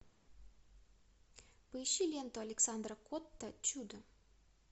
поищи ленту александра котта чудо